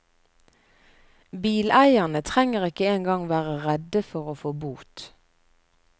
Bileierne trenger ikke engang være redde for å få bot.